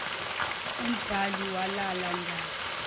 umbhali wale ndaba